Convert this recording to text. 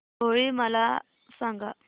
होळी मला सांगा